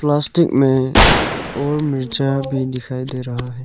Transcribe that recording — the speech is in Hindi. प्लास्टिक में और मिर्चा भी दिखाई दे रहा है।